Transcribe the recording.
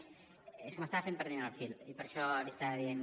és que m’estava fent perdre el fil i per això li estava dient